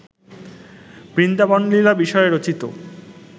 বৃন্দাবনলীলা বিষয়ে রচিত